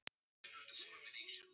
Það var ekki lítið erfiði fyrir barn.